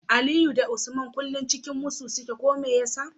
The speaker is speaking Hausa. Aliyu da Usman kullun cikin musu suke ko meyasa